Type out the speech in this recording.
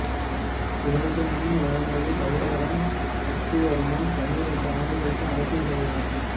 இவனுக்கு முன் இவனது சகோதரன் சக்திவர்மன் பன்னிரெண்டு ஆண்டுகள் ஆட்சி செய்தான்